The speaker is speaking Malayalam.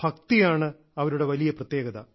ഭക്തിയാണ് അവരുടെ വലിയ പ്രത്യേകത